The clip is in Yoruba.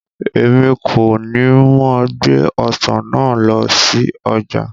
Èmi kọ ní mo gbé Ọ̀sán náà lọ sí ọjà.